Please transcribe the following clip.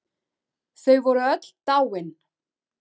Þau voru öll dáin.